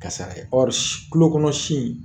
Ka sara ye tulo kɔnɔ si